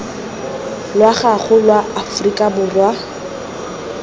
lwa gago lwa aforika borwa